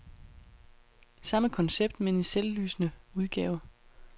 Samme koncept, men i selvlysende udgave.